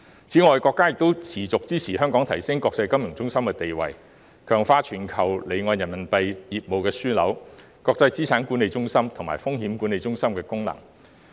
此外，國家亦一如既往，支持香港提升國際金融中心地位，強化全球離岸人民幣業務樞紐、國際資產管理中心及風險管理中心功能。